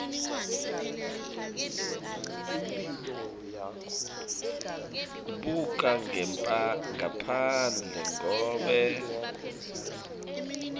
ubuka ngephandle ngobe